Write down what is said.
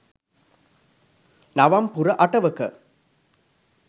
නවම් පුර අටවක